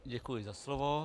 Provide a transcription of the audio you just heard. Děkuji za slovo.